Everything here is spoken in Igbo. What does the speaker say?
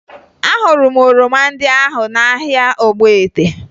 Ahụrụ m oroma ndị ahụ n'ahịa Ogbete